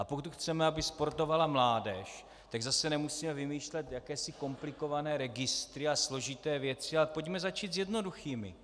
A pokud chceme, aby sportovala mládež, tak zase nemusíme vymýšlet jakési komplikované registry a složité věci, ale pojďme začít s jednoduchými.